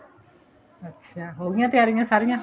ਅੱਛਾ ਹੋ ਗਈਆਂ ਤਿਆਰੀਆਂ ਸਾਰੀਆਂ